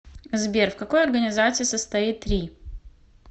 сбер в какой организации состоит ри